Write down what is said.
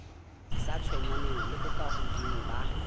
sa tshwenyaneng le bokahodimo ba